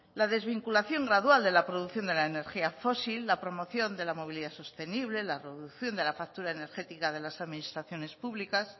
la desvinculación gradual de la producción de la energía fósil la promoción de la movilidad sostenible la reducción de la factura energética de las administraciones públicas